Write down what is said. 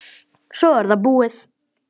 Svo er það búið.